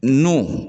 Nu